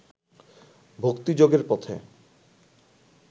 ভক্তিযোগের পথে